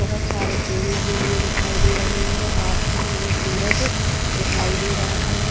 बोहोत सारे पेड़ लगे हुए दिखाई दे रहे हैं। आसमान में सूरज दिखाई दे रहा है।